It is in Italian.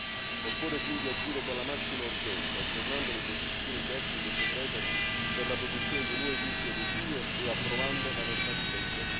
Occorre quindi agire con la massima urgenza, aggiornando le prescrizioni tecniche segrete per la produzione dei nuovi visti adesivi e approvando la normativa in tempi brevi.